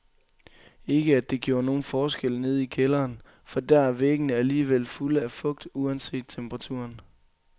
Ikke at det gjorde nogen forskel nede i kælderen, for der er væggene alligevel fulde af fugt uanset temperaturen.